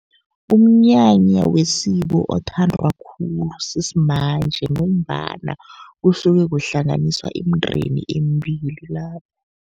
Umnyanya wesiko othandwa khulu sisimanje, ngombana kusuke kuhlanganiswa imindeni emibili lapho.